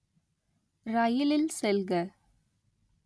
ரயிலில் செல்க